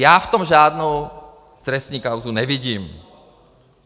Já v tom žádnou trestní kauzu nevidím.